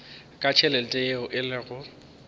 ka tšhelete yeo e lego